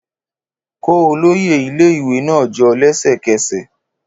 Kó olóyè ilé-ìwé náà jọ lẹ́sẹ̀kẹsẹ̀